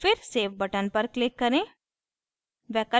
फिर save button पर click करें